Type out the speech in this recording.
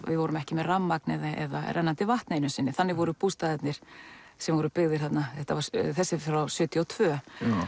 við vorum ekki með rafmagn eða rennandi vatn einu sinni þannig voru bústaðirnir sem voru byggðir þarna þessi er frá sjötíu og tvö